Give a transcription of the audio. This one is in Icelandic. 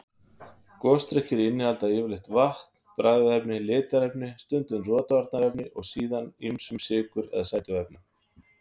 Gosdrykkir innihalda yfirleitt vatn, bragðefni, litarefni, stundum rotvarnarefni og síðan ýmist sykur eða sætuefni.